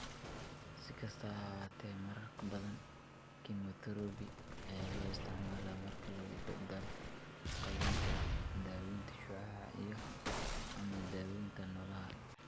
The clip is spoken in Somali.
Si kastaba ha ahaatee, marar badan, kemotherabi ayaa loo isticmaalaa marka lagu daro qalliinka, daaweynta shucaaca, iyo/ama daaweynta noolaha.